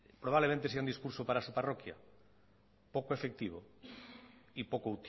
probablemente sea un discurso para su parroquia poco efectivo y poco